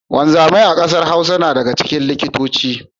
Wanzamai a kasar Hausa na daga cikin likitoci.